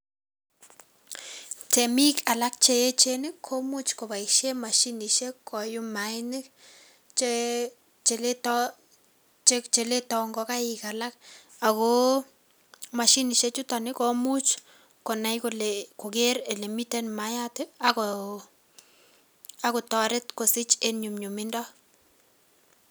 Temik alak che echen komuch kopaishen mashinisiek koyum maainik che letoi ngokaik alak ako mashinisiek chuto komuch konai kole kokeer ole miten mayat ako toret kosich eng nyumnyumindo.